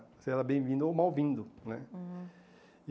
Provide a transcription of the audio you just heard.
Você era bem-vindo ou mal-vindo né. Uhum